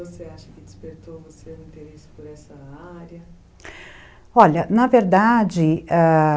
você acha que despertou o seu interesse por essa área? Olha, na verdade